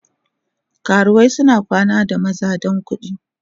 Karuwai suna kwana da maza don kudi.